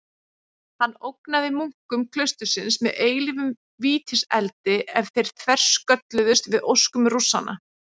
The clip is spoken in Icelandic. Hann ógnaði munkum klaustursins með eilífum vítiseldi ef þeir þverskölluðust við óskum Rússanna.